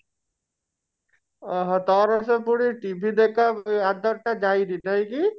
ଓଃ ହୋ ତୋର ସେବେଠୁ TV ଦେଖା आदत ଟା ଯାଇନି ନାଇଁ କି?